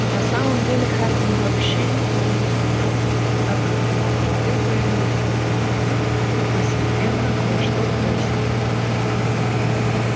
на самом деле хардин вообще никого не слушал так как в его голове появились новые мысли и постепенно кое-что прояснилось